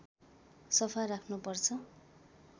सफा राख्नुपर्छ